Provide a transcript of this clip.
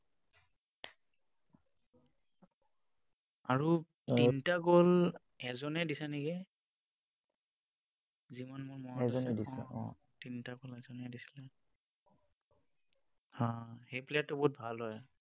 আৰু তিনিটা goal এজনেই দিছে নেকি। যিমান মোৰ মনত আছে, তিনিটা goal এজনেই দিছিলে। অ, সেই player টো বহুত ভাল হয়।